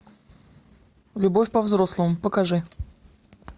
любовь по взрослому покажи